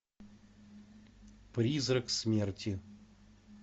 призрак смерти